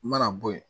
U mana bɔ yen